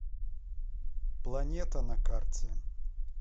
планета на карте